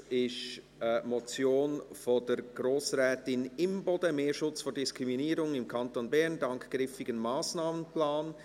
Es ist eine Motion von Grossrätin Imboden: «Mehr Schutz vor Diskriminierung im Kanton Bern dank griffigem Massnahmenplan».